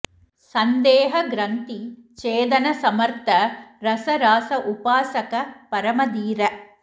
संदेह ग्रन्थि छेदन समर्थ रस रास उपासक परम धीर